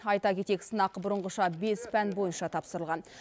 айта кетейік сынақ бұрынғыша бес пән бойынша тапсырылған